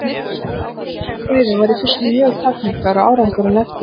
Skilningur á þessum fræðum var í fyrstu mjög takmarkaður og árangurinn eftir því.